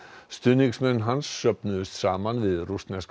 stuðningsmenn hans söfnuðust saman við rússneska